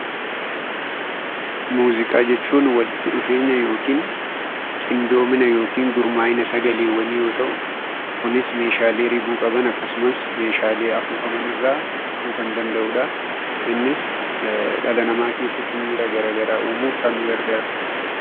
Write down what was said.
Muuziqaa jechuun walitti dhufeenya yookiin qindoomina yookiin gurmaa'ina sagaleewwanii yoo ta'u, kunis meeshaalee ribuu qaban akkasumas meeshaalee afuufaman irraa dhufuu kan danda'u dha. Innis dhala namaa keessatti miira gara garaa uumuuf kan nu gargaaru dha.